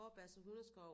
Vorbasse Hundeskov